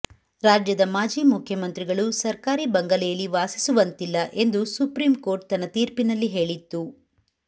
ರಾಜ್ಯದ ಮಾಜಿ ಮುಖ್ಯಮಂತ್ರಿಗಳು ಸರ್ಕಾರಿ ಬಂಗಲೆಯಲ್ಲಿ ವಾಸಿಸುವಂತಿಲ್ಲ ಎಂದು ಸುಪ್ರೀಂ ಕೋರ್ಟ್ ತನ್ನ ತೀರ್ಪಿನಲ್ಲಿ ಹೇಳಿತ್ತು